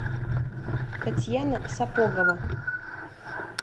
татьяна сапогова